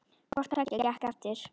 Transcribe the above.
Hvort tveggja gekk eftir.